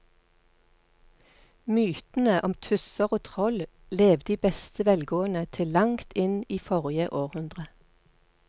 Mytene om tusser og troll levde i beste velgående til langt inn i forrige århundre.